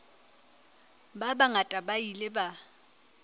ba bangata ba ile ba